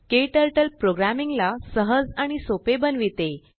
केटरटलप्रोग्रामींग ला सहज आणि सोपे बनविते